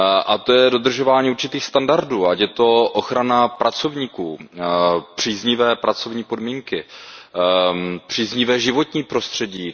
A to je dodržování určitých standardů, ať je to ochrana pracovníků, příznivé pracovní podmínky, příznivé životní prostředí.